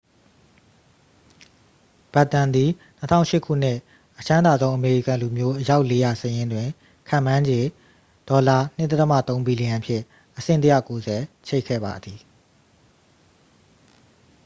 ဘက်တန်သည် 2008 ခုနှစ် အချမ်းသာဆုံးအမေရိကန်လူမျိုး အယောက် 400 စာရင်းတွင် ခန့်မှန်းခြေ $2.3 ဘီလီယံဖြင့် အဆင့် 190 ချိတ်ခဲ့ပါသည်